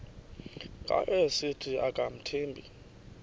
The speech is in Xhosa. ngayo esithi akamthembi